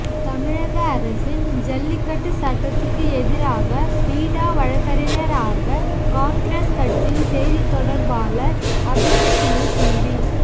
தமிழக அரசின் ஜல்லிக்கட்டு சட்டத்துக்கு எதிராக பீட்டா வழக்கறிஞராக காங்கிரஸ் கட்சியின் செய்தித் தொடர்பாளர் அபிஷேக் மனு சிங்வி